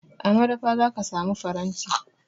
A madafa za ka samu faranti.